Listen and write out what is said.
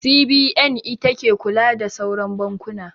CBN ita ke kula da sauran bankuna.